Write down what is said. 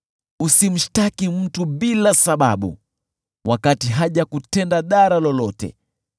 Usimshtaki mtu bila sababu, wakati hajakutenda dhara lolote.